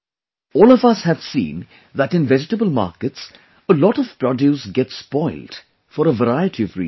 All of us have seen that in vegetable markets, a lot of produce gets spoilt for a variety of reasons